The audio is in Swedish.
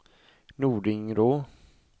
Nordingrå